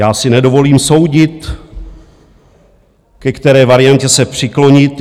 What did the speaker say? Já si nedovolím soudit, ke které variantě se přiklonit.